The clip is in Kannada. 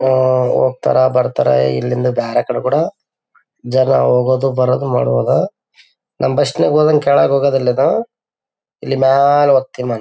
ಓ ಹೋಗ್ತಾರೆ ಬರ್ತಾರೆ ಇಲ್ಲಿಂದ ಬ್ಯಾರೆ ಕಡೆ ಕೂಡ ಜನ ಹೋಗೋದು ಬರೋದು ಮಾಡುವಾಗ ನಮ್ಮ್ ಬಸ್ ನಲ್ಲಿ ಹೋದಂಗೆ ಕೆಳಗ್ ಹೋಗೋದಿಲ್ಲ ಇದು ಇಲ್ಲಿ ಮ್ಯಾಲೆ ಹೋಗ್ತೇ ವಿಮಾನ.